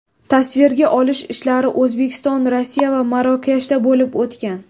Tasvirga olish ishlari O‘zbekiston, Rossiya va Marokashda bo‘lib o‘tgan.